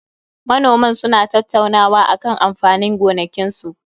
Manoman suna tattaunawa akan amfanin gonakinsu